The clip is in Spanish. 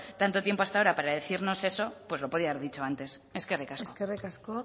tanto tiempo hasta ahora para decirnos eso pues lo podría haber dicho antes eskerrik asko eskerrik asko